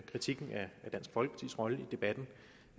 kritikken af dansk folkepartis rolle i debatten